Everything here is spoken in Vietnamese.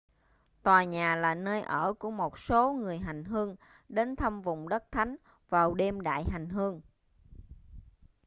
tòa nhà là nơi ở của một số người hành hương đến thăm vùng đất thánh vào đêm đại hành hương